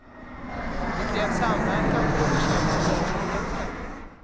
Det krävs samverkan för att bekämpa brottsligheten.